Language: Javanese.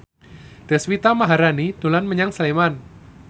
Deswita Maharani dolan menyang Sleman